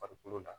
Farikolo la